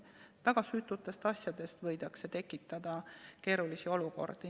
Väga süütutest asjadest võidakse tekitada keerulisi olukordi.